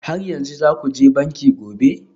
Har yanzu za ku je banki gobe?